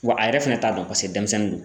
Wa a yɛrɛ fɛnɛ t'a dɔn pase denmisɛnnin don